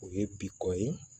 O ye bi kɔ ye